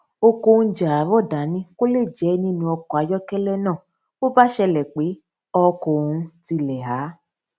ó kó oúnjẹ àárò dání kó lè jẹ nínú ọkò ayókélé náà bó bá ṣẹlè pé ọkò òhún tile há